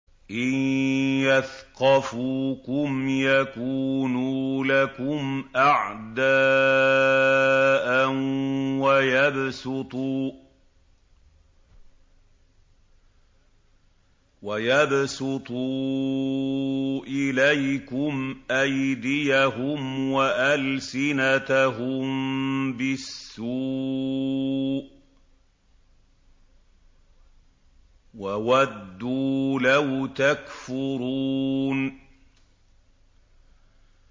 إِن يَثْقَفُوكُمْ يَكُونُوا لَكُمْ أَعْدَاءً وَيَبْسُطُوا إِلَيْكُمْ أَيْدِيَهُمْ وَأَلْسِنَتَهُم بِالسُّوءِ وَوَدُّوا لَوْ تَكْفُرُونَ